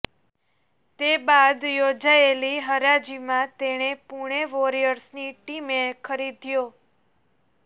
તે બાદ યોજાયેલી હરાજીમાં તેણે પૂણે વોરિયર્સની ટીમે ખરીદ્યો